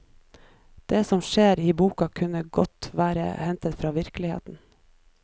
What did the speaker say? Det som skjer i boka kunne godt vært hentet fra virkeligheten.